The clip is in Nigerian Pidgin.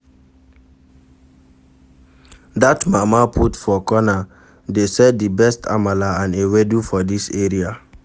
Dat mama put for corner dey sell di best amala and ewedu for dis area.